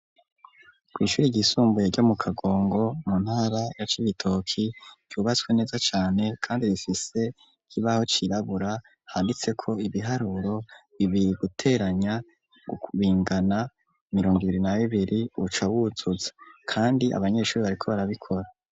Kw'ishuri ryisumbuye ryo mu Kagongo mu ntara ya Cibitoki ryubatswe neza cane kandi rifise ikibaho cirabura handitseko ibiharuro bibiri guteranya bingana mirongo ibiri na bibiri uca wutsuza kandi abanyeshuri bariko barabikora.